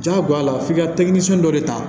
Jagoya f'i ka dɔ de ta